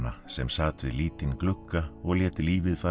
sem sat við lítinn glugga og lét lífið fara